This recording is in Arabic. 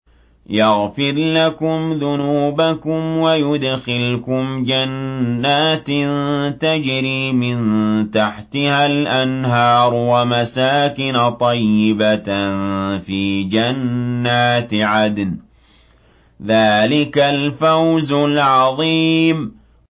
يَغْفِرْ لَكُمْ ذُنُوبَكُمْ وَيُدْخِلْكُمْ جَنَّاتٍ تَجْرِي مِن تَحْتِهَا الْأَنْهَارُ وَمَسَاكِنَ طَيِّبَةً فِي جَنَّاتِ عَدْنٍ ۚ ذَٰلِكَ الْفَوْزُ الْعَظِيمُ